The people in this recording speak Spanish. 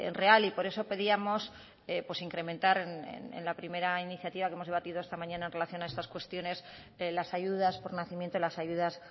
real y por eso pedíamos incrementar en la primera iniciativa que hemos debatido esta mañana en relación a estas cuestiones de las ayudas por nacimiento y las ayudas